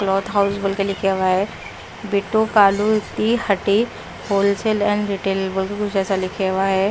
Cloth house करके लिखे हुया हैं बी टू कालू की हटे ऐसा लिखे हुआ हैं।